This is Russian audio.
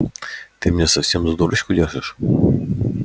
ты меня совсем за дурочку держишь